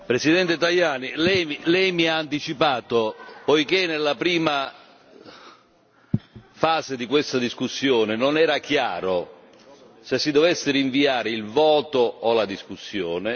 Signor Presidente, lei mi ha anticipato, poiché nella prima fase di questa discussione non era chiaro se si dovesse rinviare il voto o la discussione.